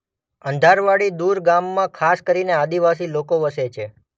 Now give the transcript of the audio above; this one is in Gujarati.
અંધારવાડીદુર ગામમાં ખાસ કરીને આદિવાસી લોકો વસે છે.